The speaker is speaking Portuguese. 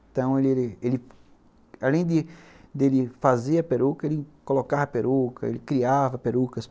Então, ele ele além de fazer a peruca, ele colocava a peruca, ele criava perucas.